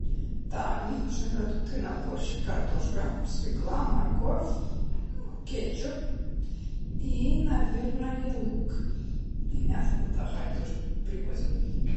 так мне нужно продукты на борщ картошка свекла морковь кетчуп и наверное лук и мясо тогда хай тоже привозят